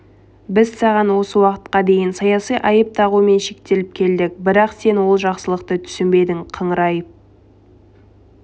біз саған осы уақытқа дейін саяси айып тағумен шектеліп келдік бірақ сен ол жақсылықты түсінбедің қыңырайып